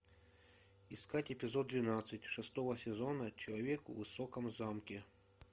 искать эпизод двенадцать шестого сезона человек в высоком замке